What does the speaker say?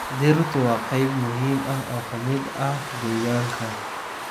Dhirtu waa qayb muhiim ah oo ka mid ah deegaanka.